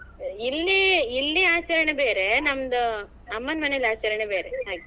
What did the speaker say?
ಇಲ್ಲಿ ಇಲ್ಲಿ ಆಚರಣೆ ಬೇರೆ ನಮ್ದು ಅಮ್ಮನ್ ಮನೆಯಲ್ಲಿ ಆಚರಣೆ ಬೇರೆ ಹಾಗೆ.